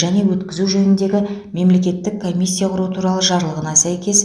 және өткізу жөніндегі мемлекеттік комиссия құру туралы жарлығына сәйкес